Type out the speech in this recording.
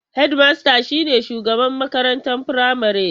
Hedmasta shine shugaban makarantar firamare.